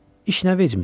İş nə vecimizə.